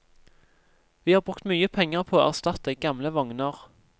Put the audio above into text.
Vi har brukt mye penger på å erstatte gamle vogner.